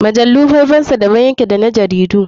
Mujallu faifansa da ban yake da na jaridu.